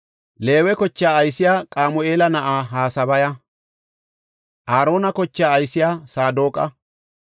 Leewe kochaa aysey Qamu7eela na7aa Hasabaya. Aarona kochaa aysey Saadoqa.